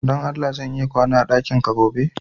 Don Allah ,zan iya kwana a dakinka gobe?